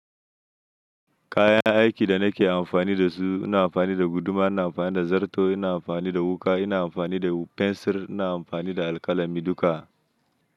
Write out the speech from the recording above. Kayan aikin da nake amfani da su, ina amfani da guduma, ina amfani da zarto, ina amfani da wuƙa, ina amfani da fensir, ina amfani da alƙalami duka.